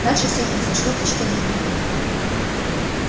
дальше все произошло почти одновременно